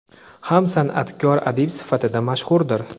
ham san’atkor adib sifatida mashhurdir.